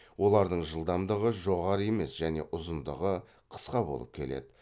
олардың жылдамдығы жоғары емес және ұзындығы қысқа болып келеді